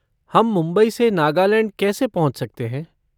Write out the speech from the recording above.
हम मुंबई से नागालैंड कैसे पहुँच सकते हैं?